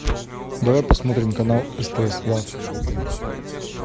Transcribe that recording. давай посмотрим канал стс лав